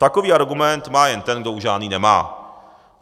Takový argument má jen ten, kdo už žádný nemá.